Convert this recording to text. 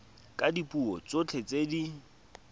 ka dipuo tsotlhe tse di